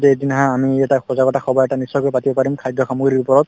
এদিন আহা আমি এটা সজাগতা সভা এটা নিশ্চয়কৈ পাতিব পাৰিম খাদ্য সামগ্ৰীৰ ওপৰত